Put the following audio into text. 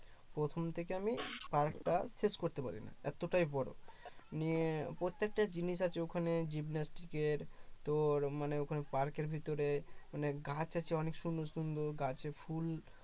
প্রথম থেকে আমি park টা শেষ করতে পারি নাই এতটাই বড় মানে প্রত্যেকটা জিনিস আছে ওখানে gymnastic এর তোর মানে ওখানে পার্কের ভিতরে মানে গাছ আছে অনেক সুন্দর সুন্দর গাছে ফুল